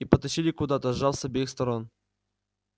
и потащили куда-то сжав с обеих сторон